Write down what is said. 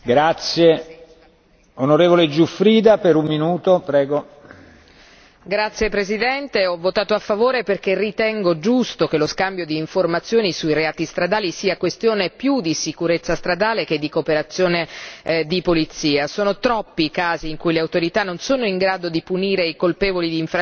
Signor Presidente, onorevoli colleghi, ho votato a favore perché ritengo giusto che lo scambio di informazioni sui reati stradali sia questione più di sicurezza stradale che di cooperazione di polizia. Sono troppi i casi in cui le autorità non sono in grado di punire i colpevoli di infrazioni perché queste vengono commesse da veicoli stranieri.